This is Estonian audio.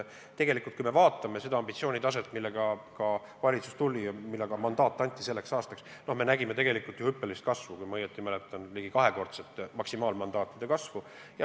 Kui me vaatame seda ambitsiooni, millega valitsus on välja tulnud ja milleks selleks aastaks ka mandaat anti, siis me näeme tegelikult hüppelist kasvu: kui ma ei eksi, ligi kahekordset maksimaalmandaatide kasvu.